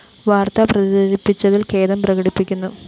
വാര്‍ത്ത പ്രചരിപ്പിച്ചതില്‍ ഖേദം പ്രകടിപ്പിക്കുന്നു